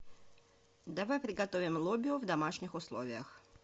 давай приготовим лобио в домашних условиях